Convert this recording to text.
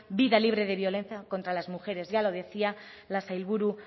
vida libre de violencia contra las mujeres ya lo decía la sailburu